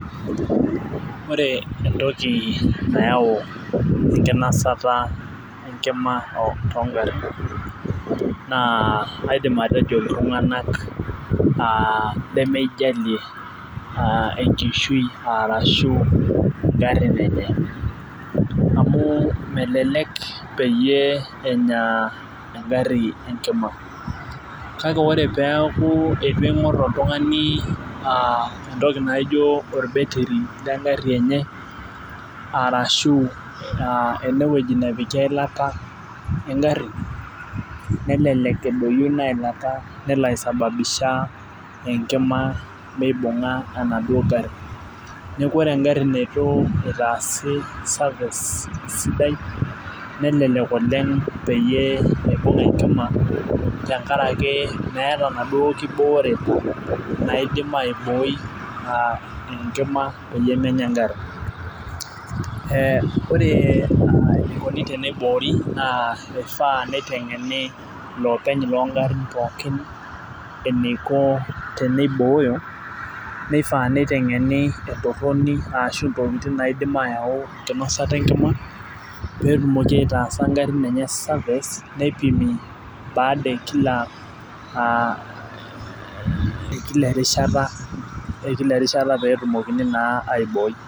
ore entoki nayau enkinosata enkima too garin naa aidimatejo iltunganak lemeijalie enkishu i arashu garin enye, amu melelek peyie enya garin enkima, kake ore peeku eitu ing'or oltungani entoki naijo ol battery le gari enye arashu, ene neoiki eilata egari, nelelek edoyio, ina ilata, nelo aisababisha enkima meibung'a enaduoo gari, neeku re egari neitu itaasi service sidai nelelk oleng peyie, eibung enkima tenakaraki meeta inaduoo kibooreta naidim aibooi enkima peyie menya egari.ee ore enikoni teneiboori naa eifa neitengeni ilopeny loogarin pookin eneiko teneibooyo, neifaa neiteng'eni entoroni arashu ntokitin naidi aayau, enkinosata enkima, pee etumoki aitaasa garin enye service[csneipimi baada e kila erishata, ekila erishata pe etumokini naa aibooi.